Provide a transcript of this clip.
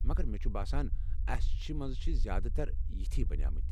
مگر مےٚ چھُ باسان اسہِ مَنٛز چھِ زیادٕ تر یتھی بنیمٕتۍ۔